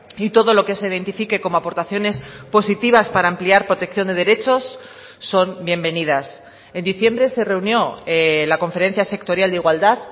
y todo lo que se identifique como aportaciones positivas para ampliar protección de derechos son bienvenidas en diciembre se reunió la conferencia sectorial de igualdad